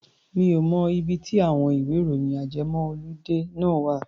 Mi ò mọ ibi tí àwọn ìwẹ́-ìròyìn ajẹmọ́-ọludé náà wà.